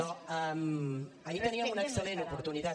no ahir teníem una excel·lent oportunitat